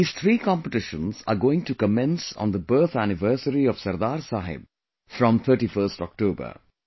these three competitions are going to commence on the birth anniversary of Sardar Sahib from 31st October